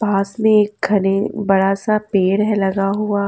पास में एक खने बड़ा सा पेड़ है लगा हुआ।